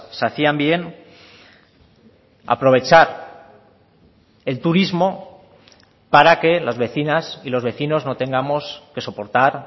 se hacían bien aprovechar el turismo para que las vecinas y los vecinos no tengamos que soportar